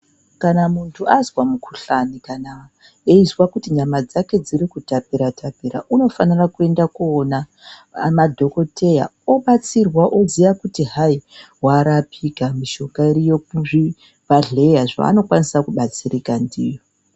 Kana muntu anzwa mukuhlwane kana einzwa kuti nyama dzake dzikutapira tapira unofanira kuenda kowona ana dhokodheya onobatsirwa iziya kuti hayi warapika mishonga iriyo kuzvibhedhleya zvawanokwanisa kubatsirika ndiyo